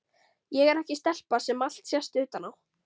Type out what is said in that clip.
Ég er ekki stelpa sem allt sést utan á.